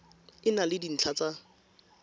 e na le dintlha tsa